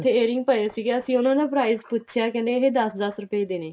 ਉੱਥੇ airing ਪਏ ਸੀਗੇ ਅਸੀਂ ਉਹਨਾ ਦਾ price ਪੁੱਛਿਆ ਕਹਿੰਦੇ ਇਹ ਦਸ ਦਸ ਰੁਪਏ ਦੇ ਨੇ